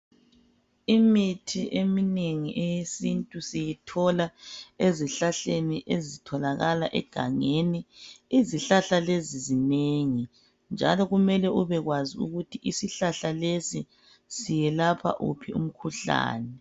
Imithi eminengi eyesintu siyithola ezihlahleni ezitholakala egangeni. Izihlahla lezi zinengi njalo kumele ubekwazi ukuthi isihlahla lesi siyelapha wuphi umkhuhlane.